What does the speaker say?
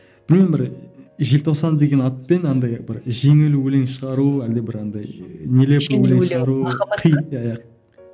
білмеймін бір желтоқсан деген атпен андай бір жеңіл өлең шығару әлде бір андай нелепо өлең шығару